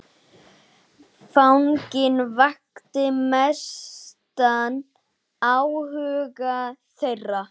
Fanginn vakti mestan áhuga þeirra.